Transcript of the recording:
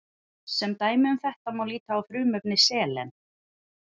sem dæmi um þetta má líta á frumefni selen